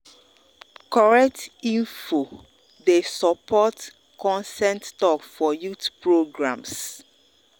correct info dey support consent talk for youth programs.